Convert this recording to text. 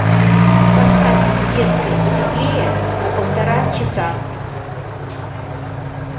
поставь в детской потеплее на полтора часа